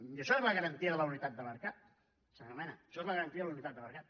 i això és la garantia de la unitat de mercat senyor mena això és la garantia de la unitat de mercat